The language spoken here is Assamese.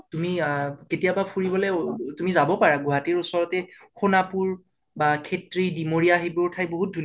তুমি কেতিয়াবা ফুৰিবলৈ উ উ তুমি যাব পাৰা গুৱাহাটীৰ ওচৰতে সোণাপুৰ, খেত্ৰী, দিমৰীয়া সেইবোৰ ঠাই বহুত ধুণীয়া